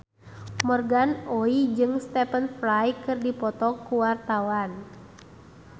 Morgan Oey jeung Stephen Fry keur dipoto ku wartawan